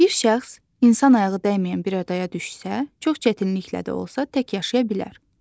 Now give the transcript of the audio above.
Bir şəxs insan ayağı dəyməyən bir adaya düşsə, çox çətinliklə də olsa tək yaşaya bilər.